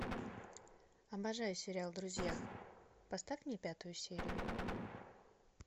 обожаю сериал друзья поставь мне пятую серию